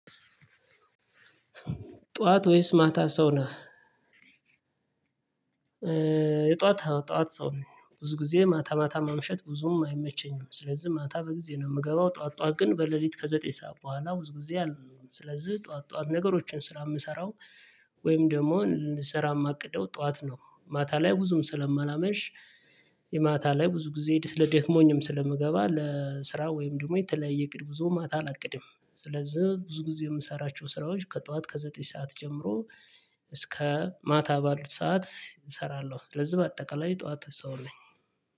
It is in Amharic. ጠዋት ወይስ ማታ ሰው ነህ? የጠዋት ጧት ሰው ነኝ ብዙ ጊዜ ማታ ማታ ማምሸት ብዙም አይመቸኝም ስለዚህ ማታ በጊዜ ነው የምገባው። ጧት ጧት ግን በሌሊት ከዘጠኝ ሰዓት በኋላ ብዙ ጊዜ አለው። ስለዚህ ጠዋት ጠዋት ነገሮችን ስራ የምሰራው ወይም ደግሞ ልሰራ የማቅደው ጠዋት ነው። ማታ ላይ ብዙም ስለማላመሽ የማታ ላይ ብዙ ጊዜ ስለ ደክሞኝም ስለምገባ ለስራ ወይም ደግሞ የተለያየ እቅድ ብዙ ማታ አላቅድም። ስለዚህ ብዙ ጊዜ የምሰራቸው ስራዎች ከጠዋት ከዘጠኝ ሰዓት ጀምሮ እስከ ማታ ባሉት ሰዓት እሰራለሁ። ስለዚህ በአጠቃላይ የጠዋት ሰው ነኝ።